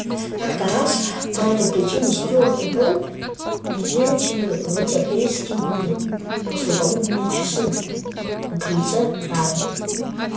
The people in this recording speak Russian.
как то раз по этой причине стюарт и брент бездельничали в эти апрельские послеполуденные часы на крыльце тары